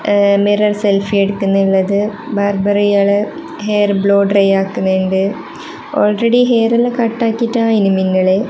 ഏ mirror selfie എടുക്കുന്നള്ളത് barber ഇയാളെ ഹെയർ ബ്ലൂ ഡ്രൈ ആക്കുന്ന്ണ്ട് ഓൾറെഡി ഹെയറെല്ലം കട്ടാക്കിറ്റാ ഇനിമിന്നല്.